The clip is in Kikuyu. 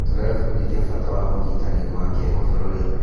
Tũrebundithia bata ũnyitanĩri wa kĩmabũrũri.